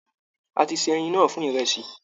A ti se ẹyin náà fún ìrẹsì.